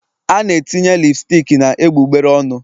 A na-etinye lipstic na egbugbere ọnụ